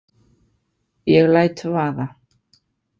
Ég læt vaða.